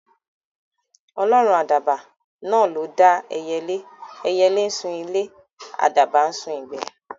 Ọlọ́run àdàbà náà ló dá ẹyẹlé; ẹyẹlé ńsun ilé, àdàbà ńsun ìgbẹ́